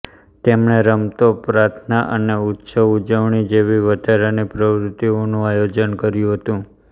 તેમણે રમતો પ્રાર્થના અને ઉત્સવ ઉજવણી જેવી વધારાની પ્રવૃત્તિઓનું આયોજન કર્યું હતું